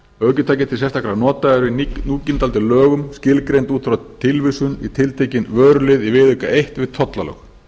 ökutæki til sérstakra nota eru í núgildandi lögum skilgreind út frá tilvísun í tiltekinn vörulið i viðauka eins við tollalög